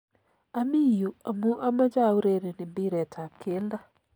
Ami yu amu amache aureren mpiretap keldo